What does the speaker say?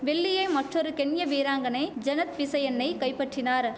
வெள்ளியே மற்றொரு கென்ய வீராங்கனை ஜெனத் பிசயன்னை கைப்பற்றினார்